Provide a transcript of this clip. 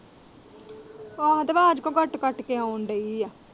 ਆਹੋ ਤੇ ਆਵਾਜ਼ ਕਿਉਂ ਕੱਟ-ਕੱਟ ਕੇ ਆਉਣ ਦਈ ਏ।